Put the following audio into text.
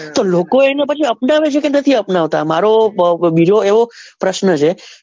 તો લોકો એને પછી અપનાવે છે કે નથી અપનાવતા મારો બીજો એવો પ્રશ્ન છે.